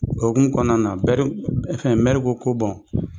O hukumu kɔnɔna na fɛn mɛri ko ko